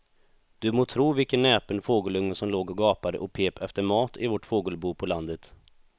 Du må tro vilken näpen fågelunge som låg och gapade och pep efter mat i vårt fågelbo på landet.